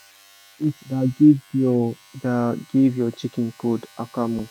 when heat da give your da give your chicken cold akamu